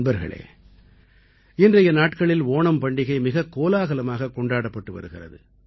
நண்பர்களே இந்த வாரத்தில் ஓணம் பண்டிகை மிகக் கோலாகலமாகக் கொண்டாடப்படவிருக்கிறது